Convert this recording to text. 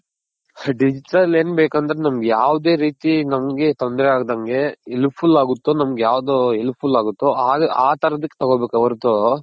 Digital ಏನ್ ಬೇಕು ಅಂದ್ರೆ ನಮ್ಗ್ ಯಾವ್ದೆ ರೀತಿ ನಮ್ಗ್ ತೊಂದ್ರೆ ಆಗ್ದಂಗೆ helpful ಆಗುತ್ತೋ ನಮ್ಗ್ ಯಾವ್ದು helpful ಆಗುತ್ತೋ ಆ ತರದಕ್ ತಗೋ ಬೇಕೇ ಹೊರ್ತು.